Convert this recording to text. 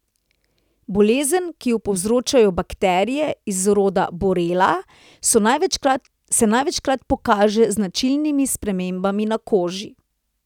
Bolezen, ki jo povzročajo bakterije iz rodu borrelia, se največkrat pokaže z značilnimi spremembami na koži.